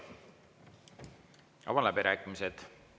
Avan läbirääkimised.